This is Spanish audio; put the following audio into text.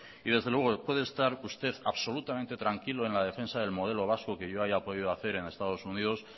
desde luego puede estar usted absolutamente tranquilo en la defensa del modelo vasco que yo haya podido hacer en estados unidos